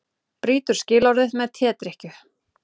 Brýtur skilorðið með tedrykkju